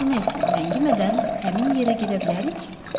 Mister Meyson, ləngimədən həmin yerə gedə bilərik?